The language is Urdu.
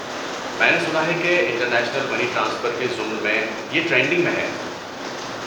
میں نے سنا ہے کہ انٹر نیشنل منی ٹرانسفر کے ضمن میں یہ ٹرینڈنگ میں ہے۔